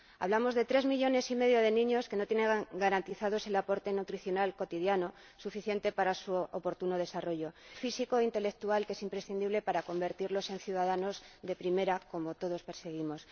Hablamos de tres millones y medio de niños que no tienen garantizado el aporte nutricional cotidiano suficiente para su oportuno desarrollo, el desarrollo físico e intelectual que es imprescindible para convertirse en ciudadanos de primera, como todos perseguimos.